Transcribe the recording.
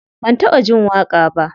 Ban taɓa jin waƙa ba.